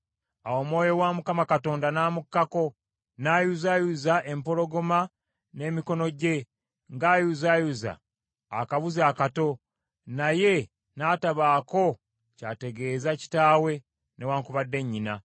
Awo Omwoyo wa Mukama Katonda n’amukkako, n’ayuzaayuza empologoma n’emikono gye ng’ayuzaayuza akabuzi akato, naye n’atabaako ky’ategeeza kitaawe newaakubadde nnyina.